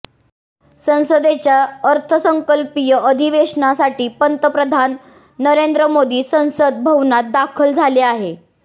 संसदेच्या अर्थसंकल्पीय अधिवेशनासाठी पंतप्रधान नरेंद्र मोदी संसद भवनात दाखल झाले आहे